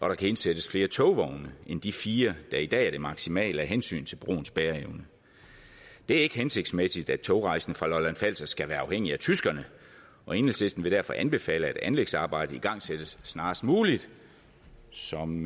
der kan indsættes flere togvogne end de fire der i dag er det maksimale af hensyn til broens bæreevne det er ikke hensigtsmæssigt at togrejsende fra lolland falster skal være afhængig af tyskerne og enhedslisten vil derfor anbefale at anlægsarbejdet igangsættes snarest muligt som